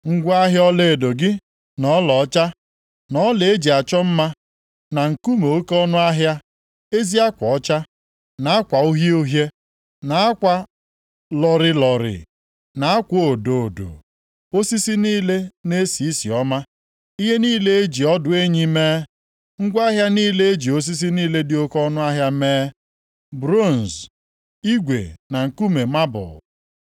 Ngwa ahịa ọlaedo gị, na ọlaọcha, na ọla e ji achọ mma na nkume oke ọnụahịa, ezi akwa ọcha, na akwa uhie uhie, na akwa lọrịlọrị, na akwa odo odo, osisi niile na-esi isi ọma, ihe niile e ji ọdụ enyi mee, ngwa ahịa niile e ji osisi niile dị oke ọnụahịa mee, bronz, igwe na nkume mabụl.